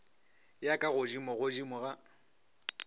ya ka godimo godimo ga